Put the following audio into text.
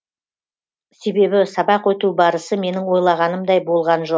себебі сабақ өту барысы менің ойлағанымдай болған жоқ